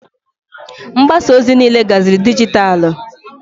Mgbasa ozi niile gaziri dijitalụ.